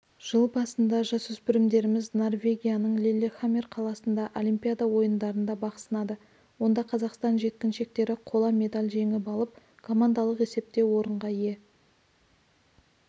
жыл басында жасөспірімдеріміз норвегияның лиллехаммер қаласындағы олимпиада ойындарында бақ сынады онда қазақстан жеткіншектері қола медаль жеңіп алып командалық есепте орынға ие